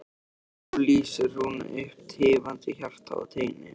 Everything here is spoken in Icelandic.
Nú lýsir hún upp tifandi hjarta á teini.